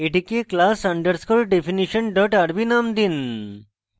এটিকে class _ definition rb name দিন